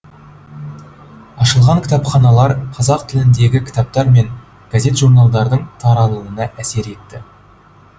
ашылған кітапханалар қазақ тіліндегі кітаптар мен газет журналдардың таралуына әсер етті